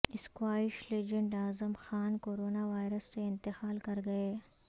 squash legend Azam Khan corona virus سے انتقال کرگئے